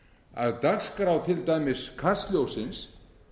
að dagskrá til dæmis kastljóssins